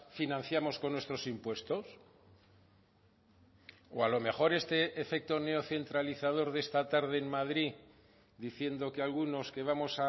financiamos con nuestros impuestos o a lo mejor este efecto neocentralizador de esta tarde en madrid diciendo que algunos que vamos